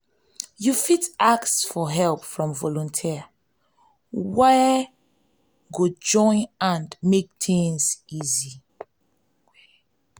you fit ask for help from volunteers wey go join hand make things easy